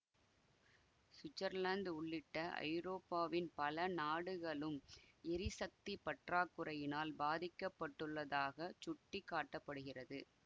Switzerland உள்ளிட்ட ஐரோப்பாவின் பல நாடுகளும் எரிசக்தி பற்றாக்குறையினால் பாதிக்கப்பட்டுள்ளதாக சுட்டிக்காட்டப்படுகிறது